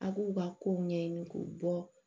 A' k'u ka kow ɲɛɲini k'u bɔ